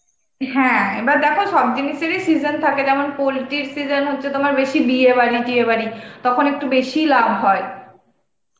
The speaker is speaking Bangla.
হ্যাঁ, এবার দেখো সব জিনিসেরই season থাকে যেমন poultry এর season হচ্ছে তোমার বেশি বিয়েবাড়ি টিয়েবাড়ি, তখন একটু বেশিই লাভ হয়.